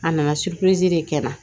A nana de kɛ n na